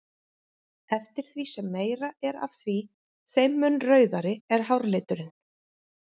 Eftir því sem meira er af því þeim mun rauðari er hárliturinn.